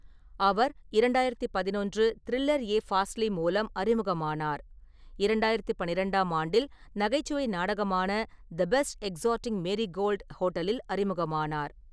அவர் இரண்டாயிரத்து பதினொன்று த்ரில்லர் யே ஃபாஸ்லி மூலம் அறிமுகமானார், இரண்டாயிரத்து பன்னிரெண்டாம் ஆண்டில் நகைச்சுவை நாடகமான தி பெஸ்ட் எக்ஸாடிங் மேரிகோல்ட் ஹோட்டலில் அறிமுகமானார்.